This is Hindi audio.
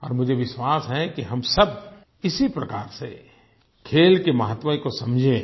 और मुझे विश्वास है हम सब इसी प्रकार से खेल के महत्व को समझें